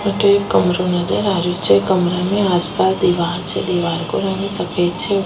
अठे एक कमराे नजर आ रियो छे कमरा में आस पास दिवार छे दिवार को रंग सफ़ेद छे।